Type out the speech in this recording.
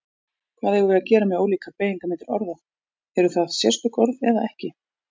Hvað eigum við að gera með ólíkar beygingarmyndir orða, eru það sérstök orð eða ekki?